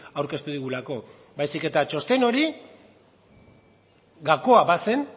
aurkeztu digulako baizik eta txosten hori gakoa bazen